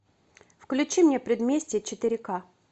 включи мне предместье четыре ка